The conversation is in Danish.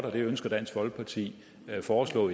og det ønsker dansk folkeparti at foreslå